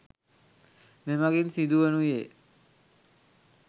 මෙමඟින් සිදුවනුයේ